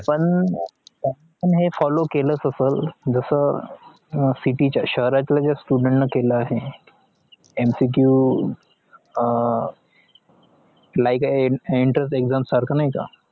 पण हे follow केला असेल जस सिटीच्या शहरातील students नी केला आहे या म शीकीव हा entrance exam सारखा